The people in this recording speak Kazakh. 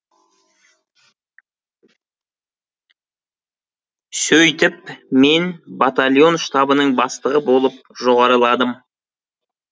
сөйтіп мен батальон штабының бастығы болып жоғарыладым